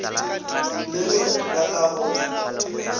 le ge ba ka go